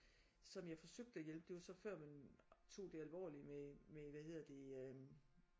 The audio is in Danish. Som jeg forsøgte at hjælpe det var så før man tog det alvorligt med med hvad hedder det øh